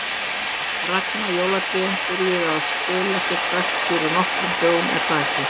Ragna, jólatrén byrjuðu að skila sér strax fyrir nokkrum dögum er það ekki?